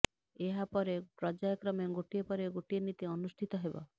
ଏହା ପରେ ପର୍ଯ୍ୟାୟକ୍ରମେ ଗୋଟିଏ ପରେ ଗୋଟିଏ ନୀତି ଅନୁଷ୍ଠିତ ହେବ